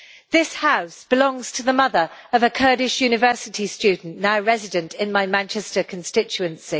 This house belongs to the mother of a Kurdish university student now resident in my Manchester constituency.